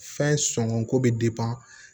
Fɛn sɔngɔ ko bɛ